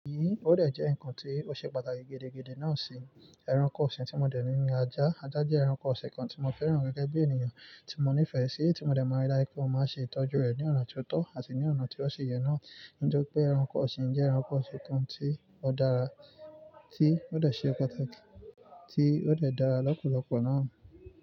Yíò dè jẹ́ ǹkan tí ó ṣe pàtàkì gẹ́dẹ́gẹ́dẹ́ náà sì ẹranko ọ̀sìn tí mo dẹ̀ ní ni ajá. Ajá jẹ́ ẹranko ọ̀sìn kan tí mo fẹ́ràn gẹ́gẹ́ bí ènìyàn tí mo nífẹ̀ẹ́ sí tí mo dẹ̀ mọ ilé pé ó máa ń ṣe ìtọ́jú rẹ̀ ní ọ̀nà tó tọ́ àti ní ọ̀nà tí ó ṣe yẹ náà. Nítori pé ẹranko ọ̀sìn jẹ́ ẹranko ọ̀sìn kan tí ó dára, tí ó dẹ̀ ṣe pàtàkì, tí ó dẹ̀ dára lọ́pọ̀lọpọ̀ náà.